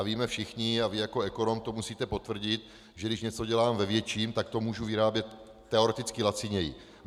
A víme všichni, a vy jako ekonom to musíte potvrdit, že když něco dělám ve větším, tak to můžu vyrábět teoreticky laciněji.